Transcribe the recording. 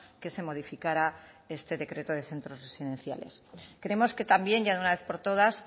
que se modificará este decreto de centros residenciales creemos que también ya de una vez por todas